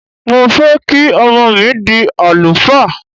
Mo fẹ́ kí ọmọ mi dí àlùfáà.